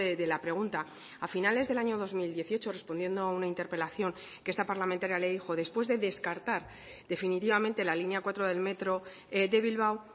de la pregunta a finales del año dos mil dieciocho respondiendo a una interpelación que esta parlamentaria le dijo después de descartar definitivamente la línea cuatro del metro de bilbao